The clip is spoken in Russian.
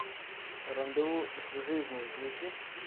рандеву с жизнью включи